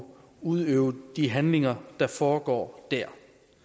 udøve de handlinger der foregår der